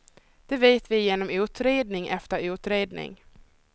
Det vet vi genom utredning efter utredning.